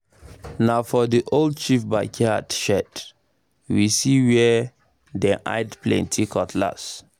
na for the old chief backyard shed we see where we see where dem hide plenty cutlass